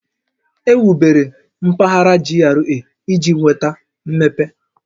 Ewubere mpaghara GRA iji weta mmepe